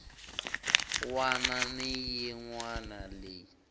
wana ni yin wana leyi